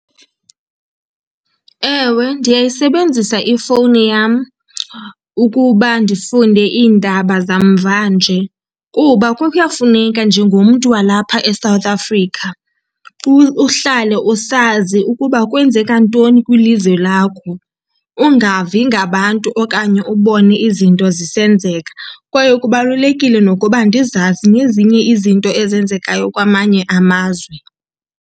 Ewe, ndiyayisebenzisa ifowuni yam ukuba ndifunde iindaba zamvanje, kuba kuyafuneka njengomntu walapha eSouth Africa uhlale usazi ukuba kwenzeka ntoni kwilizwe lakho, ungavi ngabantu okanye ubone izinto zisenzeka. Kwaye kubalulekile nokuba ndizazi nezinye izinto ezenzekayo kwamanye amazwe.